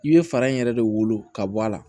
I bɛ fara in yɛrɛ de wolo ka bɔ a la